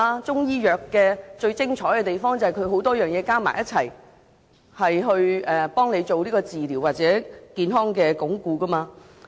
中醫藥最精彩之處便是以多種中藥混合煎煮為病人治療或鞏固健康。